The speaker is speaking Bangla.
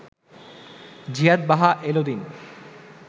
জিয়াদ বাহা এল দিন